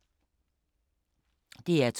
DR2